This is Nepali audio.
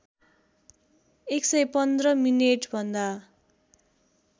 ११५ मिनेटभन्दा